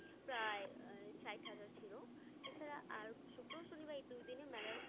প্রায় আহ ষাইট হাজার ছিলো, এছাড়া আর শুক্র শনিবার এই দুই দিনে মেলার